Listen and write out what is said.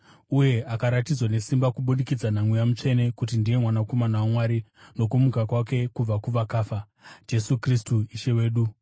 uye akaratidzwa nesimba kubudikidza naMweya Mutsvene kuti ndiye Mwanakomana waMwari, nokumuka kwake kubva kuvakafa: Jesu Kristu Ishe wedu.